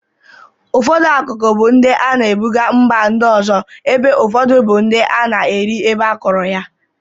Ụfọdụ akụkụ bụ ndị a na-ebụga mba ndị ọzọ ebe ụfọdụ bụ ndị a na-eri ebe akọrọ ya.